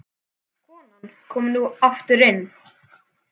Konan kom nú aftur inn.